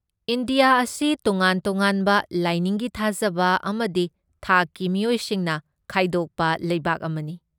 India ꯑꯁꯤ ꯇꯣꯉꯥꯟ ꯇꯣꯉꯥꯟꯕ ꯂꯥꯢꯅꯤꯡꯒꯤ ꯊꯥꯖꯕ ꯑꯃꯗꯤ ꯊꯥꯛꯀꯤ ꯃꯤꯑꯣꯏꯁꯤꯡꯅ ꯈꯥꯏꯗꯣꯛꯄ ꯂꯩꯕꯥꯛ ꯑꯃꯅꯤ꯫